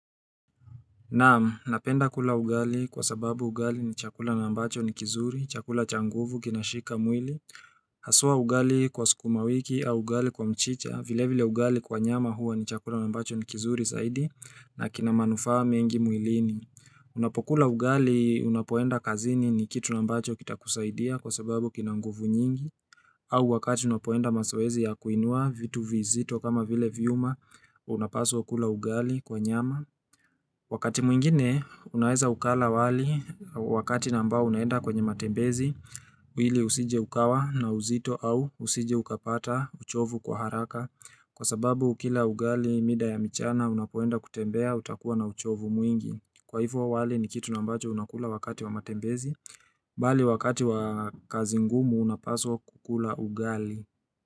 Naam, napenda kula ugali kwa sababu ugali ni chakula na ambacho ni kizuri, chakula cha nguvu kina shika mwili. Haswa ugali kwa sukuma wiki au ugali kwa mchicha, vile vile ugali kwa nyama huwa ni chakula na mbacho ni kizuri zaidi na kina manufaa mengi mwilini. Unapokula ugali unapoenda kazini ni kitu na mbacho kitakusaidia kwa sababu kina nguvu nyingi. Au wakati unapoenda mazoezi ya kuinua vitu vizito kama vile vyuma, unapaswa kula ugali kwa nyama. Wakati mwingine, unaeza ukala wali, wakati na ambao unaenda kwenye matembezi, uili usije ukawa na uzito au usije ukapata uchovu kwa haraka. Kwa sababu, kila ugali mida ya michana, unapoenda kutembea, utakuwa na uchovu mwingi. Kwa hivo wali ni kitu na ambacho unakula wakati wa matembezi, bali wakati wa kazi ngumu unapaswa kukula ugali.